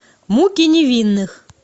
муки невинных